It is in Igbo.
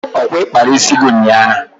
Ọkwa ị kpara isi gị ụnyaahụ?